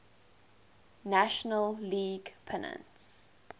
national league pennants